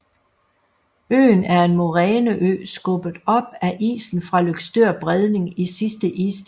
Øen er en moræneø skubbet op af isen fra Løgstør Bredning i sidste istid